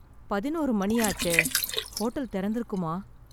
பதினோரு மணியாச்சே, ஹோட்டல் தெறந்திருக்குமா?